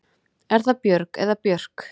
Er það Björg eða Björk?